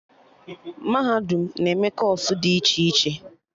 Mahadum na-eme kọọsụ dị iche iche